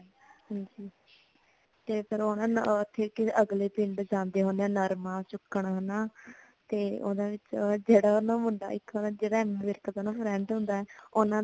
ਤੇ ਫੇਰ ਓ ਅਗਲੇ ਪਿੰਡ ਜਾਂਦੇ ਹੁੰਦੇ ਹੈ ਨਾ ਨਰਮਾ ਚੁੱਕਣ ਹਨਾ ਤੇ ਓਨਾ ਵਿਚ ਜੇੜਾ ਨਾ ਮੁੰਡਾ ਇਕ ਨਾ ਜਿਨ੍ਹਾਂ ਦਾ ਰੇਂਟ ਹੁੰਦਾ ਹੈ